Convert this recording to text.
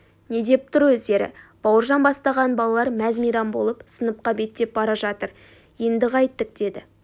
не деп тұр өздері бауыржан бастаған балалар мәз-мейрам болып сыныпқа беттеп бара жатыр енді қайттік деді